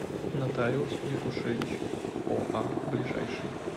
нотариус якушевич оа ближайший